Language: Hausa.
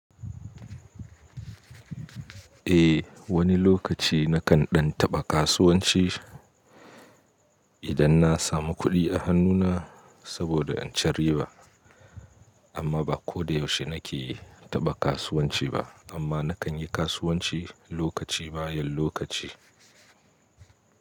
Eh, wani lokaci na kan ɗan taɓa kasuwanci idan na samu kuɗi a hannuna saboda in cire ba. Amma ba ko da yaushe na ke taɓa kasuwanci ba, amma na kan yi kasuwanci lokaci bayan lokaci.